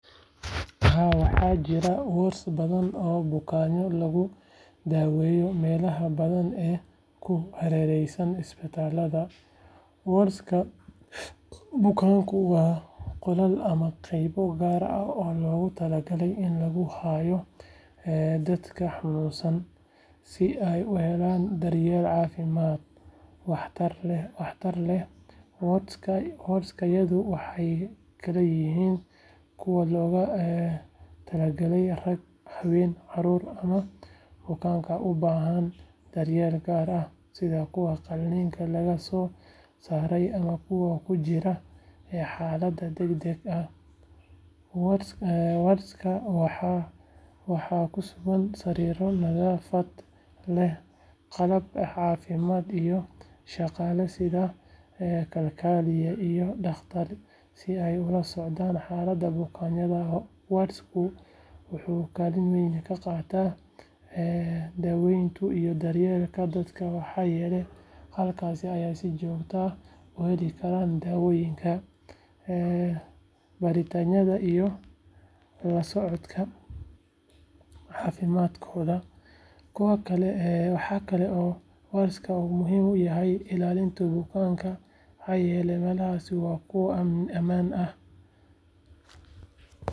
Haa waxaa jira waards badan oo bukaanno lagu daweeyo meelaha badan ee ku hareeraysan isbitaallada waards-ka bukaanku waa qolal ama qaybo gaar ah oo loogu talagalay in lagu hayo dadka xanuunsanaya si ay u helaan daryeel caafimaad waxtar lehwaards-yadu waxay kala yihiin kuwo loogu talagalay rag haween carruur ama bukaanada u baahan daryeel gaar ah sida kuwa qalliinka laga soo saaray ama kuwa ku jira xaalad degdeg ahwaards-ka waxaa ku sugan sariiro nadaafad leh qalab caafimaad iyo shaqaale sida kalkaaliyayaal iyo dhaqaatiir si ay ula socdaan xaaladda bukaankuwaards-ku wuxuu kaalin weyn ka qaataa daaweynta iyo daryeelka dadka maxaa yeelay halkaas ayay si joogto ah u heli karaan daawooyinka baaritaannada iyo la socodka caafimaadkoodawaxa kale oo waards-ku muhiim u yahay ilaalinta bukaanka maxaa yeelay meelahaasi waa kuwo ammaan ah.